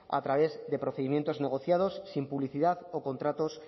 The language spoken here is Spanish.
a través de procedimientos negociados sin publicidad o contratos